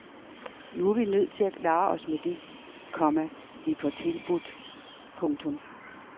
Nu er vi nødt til at klare os med det, komma vi får tilbudt. punktum